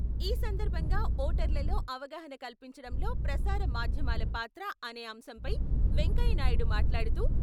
ఈ సందర్భంగా ఓటర్లలో అవగాహన కల్పించడంలో ప్రసార మాధ్యమాల పాత్ర అనే అంశంపై వెంకయ్యనాయుడు మాట్లాడుతూ...